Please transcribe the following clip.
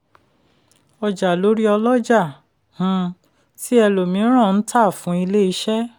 ọjà lórí ọlọ́jà um ti ẹlòmíràn n ta fún ilé-iṣẹ́.